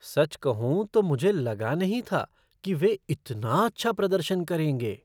सच कहूँ तो मुझे लगा नहीं था कि वे इतना अच्छा प्रदर्शन करेंगे।